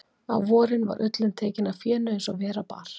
Á vorin var ullin tekin af fénu eins og vera bar.